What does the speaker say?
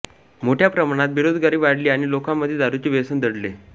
मोठ्या प्रमाणात बेरोजगारी वाढली आणि लोकांमध्ये दारूचे व्यसन जडले